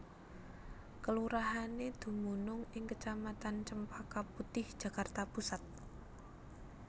Kelurahané dumunung ing kecamatan Cempaka Putih Jakarta Pusat